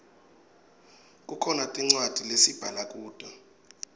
kukhona tincwadzi lesibhala kuto